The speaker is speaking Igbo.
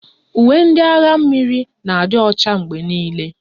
Uwe ndị agha mmiri na-adị Ọcha mgbe niile.